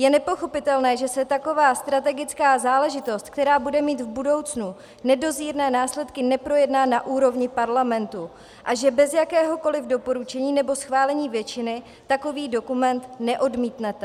Je nepochopitelné, že se taková strategická záležitost, která bude mít v budoucnu nedozírné následky, neprojedná na úrovni parlamentu a že bez jakéhokoli doporučení nebo schválení většin, takový dokument neodmítnete.